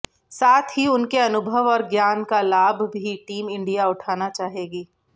साथ ही उनके अनुभव और ज्ञान का लाभ भी टीम इंडिया उठाना चाहेगी